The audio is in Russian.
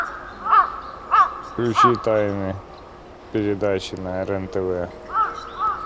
включи тайны передачи на рен тв